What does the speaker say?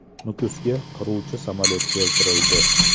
Nukusga qiruvchi samolyot keltirildi .